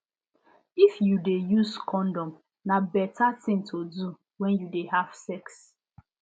if you de use condom na better thing to do when you de have sex